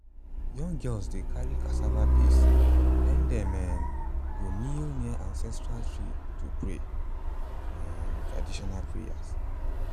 young girls dey carry cassava paste then dem um go kneel near ancestral tree to pray um traditional prayers.